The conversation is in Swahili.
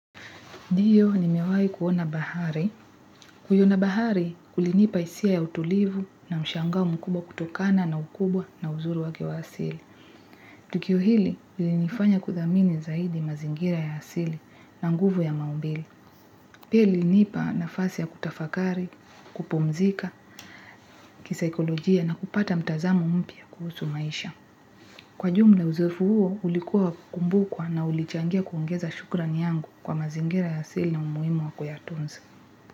Ndiyo, nimewahi kuona bahari. Kuiona bahari, kulinipa hisia ya utulivu na mshangao mkubwa kutokana na ukubwa na uzuru wake wa asili. Tukio hili, ilinifanya kuthamini zaidi mazingira ya asili na nguvu ya maumbile pia ilinipa nafasi ya kutafakari, kupumzika, kisaikolojia na kupata mtazamo mpya kuhusu maisha. Kwa jumla, uzoefu huo, ulikuwa wa kukumbukwa na ulichangia kuongeza shukran yangu kwa mazingira ya asili na umuhimu wa kuyatunza.